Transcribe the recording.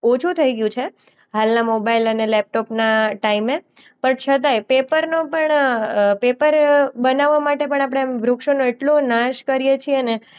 ઓછું થઈ ગયું છે હાલનાં મોબાઈલ અને લેપટોપના ટાઈમે પણ છતાંય પેપરનો પણ અ પેપર બનાવા માટે પણ આપણે એમ વૃક્ષોનો એટલો નાશ કરીએ છીએ ને